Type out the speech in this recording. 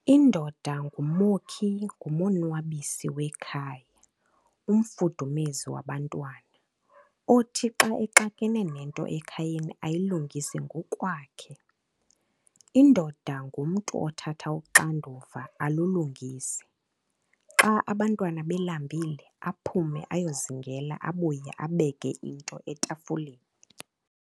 Indoda ngumokhi ngumonwabisi wekhaya umfudumezi wabantwana, othi xa ￼exakene nento ekhayeni ayilungise ngokwakhe. Indoda ngumntu othatha uxanduva alulungise, xa abantwana belambile aphume ayozingela abuye abeke into etafuleni.